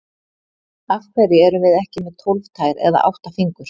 Af hverju erum við ekki með tólf tær eða átta fingur?